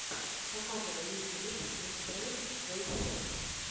показывай лучший выпуск лспрейнбоуфокса